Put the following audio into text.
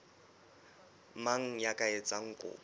mang ya ka etsang kopo